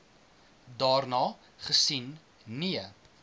daarna gesien nee